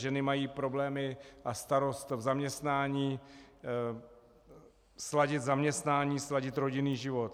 Ženy mají problémy a starost v zaměstnání, sladit zaměstnání, sladit rodinný život.